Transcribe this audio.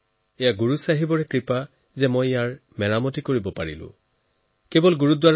এয়া গুৰু চাহেবৰে কৃপা যে মই ইয়াক জৰাজীৰ্ণ অৱস্থাৰ পৰা উদ্ধাৰৰ কাম সুনিশ্চিত কৰিব পাৰিলো